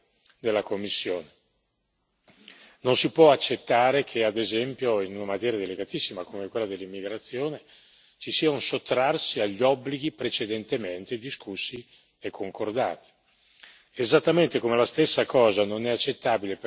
Occorre in questo molta determinazione da parte della Commissione non si può accettare che, ad esempio, in una materia delicatissima come quella dell'immigrazione ci sia un sottrarsi agli obblighi precedentemente discussi e concordati.